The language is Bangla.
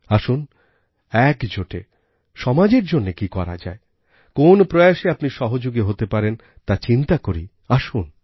আসুনএকজোটে সমাজের জন্য কি করা যায় কোন প্রয়াসে আপনি সহযোগী হতে পারেন তা চিন্তা করি আসুন